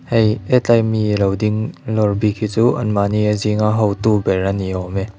hei hetlai mi lo ding lâwr bik hi chu an mahni a zinga hotu ber ani awm e.